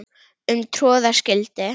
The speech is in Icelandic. um troða skyldi